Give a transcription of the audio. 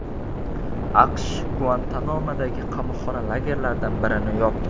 AQSh Guantanamodagi qamoqxona lagerlaridan birini yopdi.